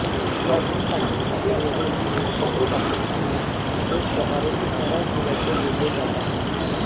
यातून पाकिस्तानला वगळून भारताने पाकिस्तानाला एक प्रकारे इशाराच दिल्याचे बोलले जात आहे